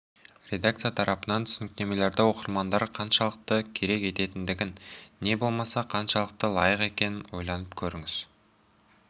редакция тарапынан түсініктемелерді оқырмандар қаншалықты керек ететіндігін не болмаса қаншалықты лайықты екенін ойланып көріңіз